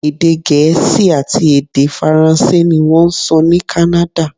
Èdè Gẹ̀ẹ́sì àti èdè Faransé ní wọ́n ń sọ ní Kánádà.